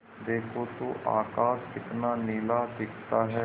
देखो तो आकाश कितना नीला दिखता है